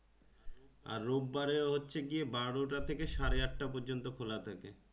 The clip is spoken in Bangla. আর রোববার হচ্ছে গিয়ে বারোটা থেকে সাড়ে আটটা পর্যন্ত খোলা থাকে ।